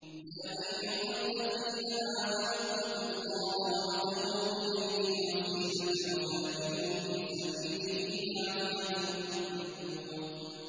يَا أَيُّهَا الَّذِينَ آمَنُوا اتَّقُوا اللَّهَ وَابْتَغُوا إِلَيْهِ الْوَسِيلَةَ وَجَاهِدُوا فِي سَبِيلِهِ لَعَلَّكُمْ تُفْلِحُونَ